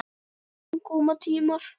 En koma tímar.